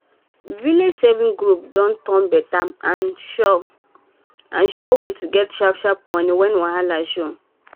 village savings group don turn better and surand sure e way to get sharp sharp money when wahala show.